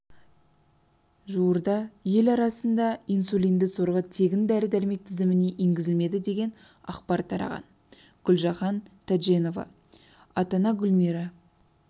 жуырда ел арасында инсулинді сорғы тегін дәрі-дәрмек тізіміне енгізілмеді деген ақпар тараған гүлжаһан тәжденова ата-ана гүлмира